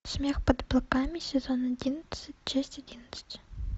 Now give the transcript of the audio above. смех под облаками сезон одиннадцать часть одиннадцать